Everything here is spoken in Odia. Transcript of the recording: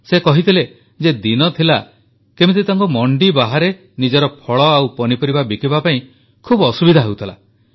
ସେ କହିଥିଲେ ଯେ ଦିନ ଥିଲା କେମିତି ତାଙ୍କୁ ମଣ୍ଡି ବାହାରେ ନିଜର ଫଳ ଓ ପନିପରିବା ବିକିବା ପାଇଁ ବହୁତ ଅସୁବିଧା ହେଉଥିଲା